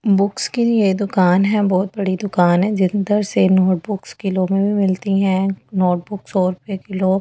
Books की यह दुकान है बहुत बड़ी दुकान है जिधर से नोटबुक्स किलो में भी मिलती है नोटबुक सौ रुपये किलो ।